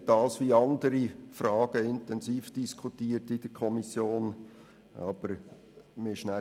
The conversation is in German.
Wie andere Fragen wurde auch diese in der Kommission intensiv diskutiert.